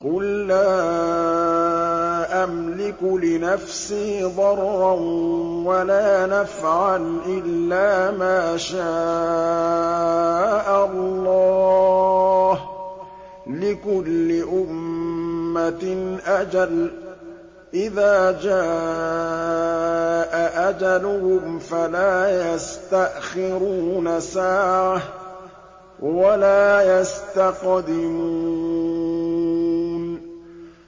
قُل لَّا أَمْلِكُ لِنَفْسِي ضَرًّا وَلَا نَفْعًا إِلَّا مَا شَاءَ اللَّهُ ۗ لِكُلِّ أُمَّةٍ أَجَلٌ ۚ إِذَا جَاءَ أَجَلُهُمْ فَلَا يَسْتَأْخِرُونَ سَاعَةً ۖ وَلَا يَسْتَقْدِمُونَ